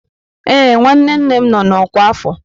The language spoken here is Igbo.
Ee, nwanne nnem nọ na ọkwá afọ.